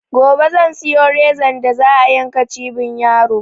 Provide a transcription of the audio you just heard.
Gobe zan siyo rezan da za a yanka cibin yaro